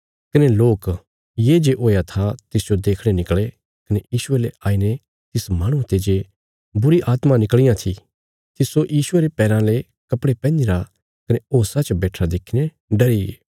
कने लोक ये जे हुया था तिसजो देखणे निकल़े कने यीशुये ले आईने तिस माहणुये ते जे बुरीआत्मां निकल़ियां थीं तिस्सो यीशुये रे पैराँ ले कपड़े पैहनीरा कने होशा च बैठिरा देखीने डरीगे